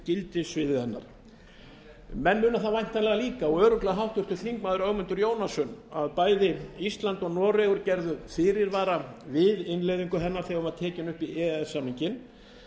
gildissviði hennar menn muna það væntanlega líka og örugglega háttvirtur þingmaður ögmundur jónasson að bæði ísland og noregur gerðu fyrirvara um innleiðingu hennar þegar hún var tekin upp í e e s samninginn